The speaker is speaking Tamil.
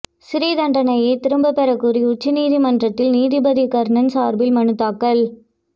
சிறை தண்டனையை திரும்பப்பெற கோரி உச்சநீதிமன்றத்தில் நீதிபதி கர்ணன் சார்பில் மனு தாக்கல்